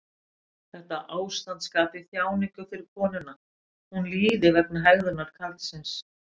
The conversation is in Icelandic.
Þetta ástand skapi þjáningu fyrir konuna, hún líði vegna hegðunar karlsins.